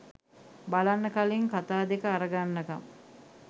බලන්න කලින් කතා දෙක අරගන්නකම්